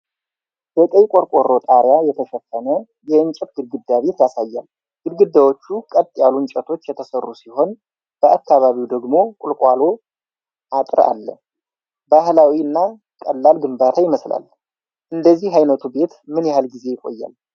በቀይ ቆርቆሮ ጣሪያ የተሸፈነ የእንጨት ግንድ ቤት ያሳያል። ግድግዳዎቹ ከቀጥ ያሉ እንጨቶች የተሠሩ ሲሆን፣ በአካባቢው ደግሞ ቁልቋል አጥር አለ። ባህላዊ እና ቀላል ግንባታ ይመስላል። እንዲህ ዓይነቱ ቤት ምን ያህል ጊዜ ይቆያል?